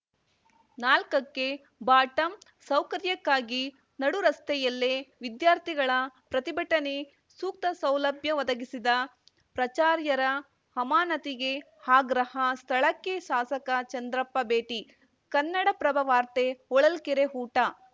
ನಾಲ್ಕಕಕ್ಕೆಬಾಟಮ್‌ಸೌಕರ್ಯಕ್ಕಾಗಿ ನಡು ರಸ್ತೆಯಲ್ಲೇ ವಿದ್ಯಾರ್ಥಿಗಳ ಪ್ರತಿಭಟನೆ ಸೂಕ್ತ ಸೌಲಭ್ಯ ಒದಗಿಸಿದ ಪ್ರಾಚಾರ್ಯರ ಅಮಾನತಿಗೆ ಆಗ್ರಹ ಸ್ಥಳಕ್ಕೆ ಶಾಸಕ ಚಂದ್ರಪ್ಪ ಭೇಟಿ ಕನ್ನಡಪ್ರಭ ವಾರ್ತೆ ಹೊಳಲ್ಕೆರೆ ಊಟ